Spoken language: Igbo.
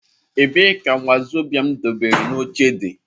Ebee ka wazobia m debere n'oche di?